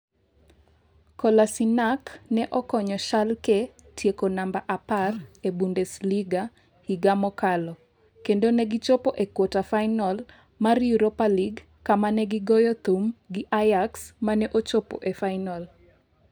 Kolasinac ne okonyo Schalke tieko namba 10 e Bundesliga higa mokalo kendo negichopo e kwata-final mar Europa League kama ne gigoyo thum gi Ajax mane ochopo e final.